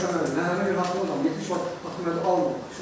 Onlar heç məni, nənəmə görə haqqımı da götürmədilər, heç vaxt baxımdan almadılar.